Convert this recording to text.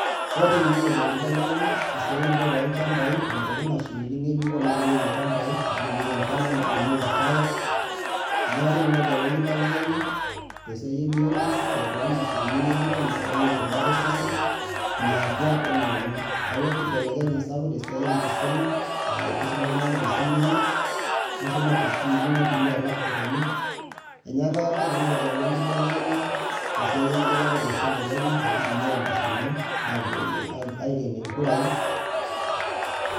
Eyauwua tenkology enkibelekenyata inotoki mashinini ngejuko naturieki ilchambai ,naunieki irpaek inyaka technology ayau enkibelekenya tesiai ebiotisho inotoki nashinini ngejuko nabakieki rubat osesen niatua wenioriong eyawua enkibelekenyata sapuk tesiai enkisuma aa kisuma oltungani tesimu enye na kitumia laptopenye inyiaka technology ayau enkibelekenya tesiai engelare olosho le Kenya akitumiai mashinini agelie nkurai